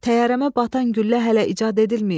Təyyarəmə batan güllə hələ icad edilməyib.